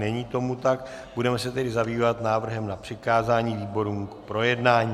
Není tomu tak, budeme se tedy zabývat návrhem na přikázání výborům k projednání.